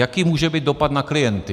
Jaký může být dopad na klienty?